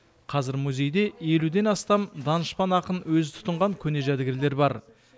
қазір музейде елуден астам данышпан ақын өзі тұтынған көне жәдігерлер бар